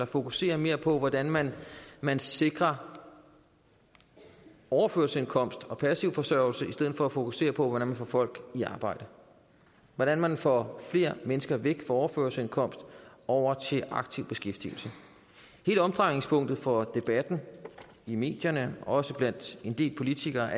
fokuserer mere på hvordan man man sikrer overførselsindkomst og passiv forsørgelse i stedet for at fokusere på hvordan man får folk i arbejde hvordan man får flere mennesker væk fra overførselsindkomst og over i aktiv beskæftigelse hele omdrejningspunktet for debatten i medierne også blandt en del politikere